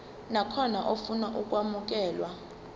nakhona ofuna ukwamukelwa